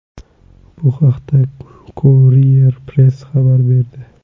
Bu haqda Courier Press xabar berdi .